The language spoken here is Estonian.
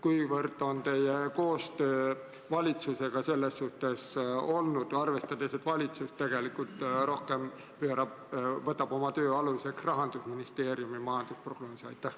Kuivõrd on olnud kasu teie koostööst valitsusega, arvestades seda, et valitsus võtab oma töös aluseks pigem Rahandusministeeriumi majandusprognoosi?